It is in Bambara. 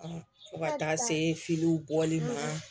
Fo ka taa se bɔli ma